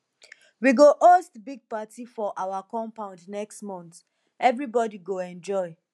we go host big party for our compound next month everybodi go enjoy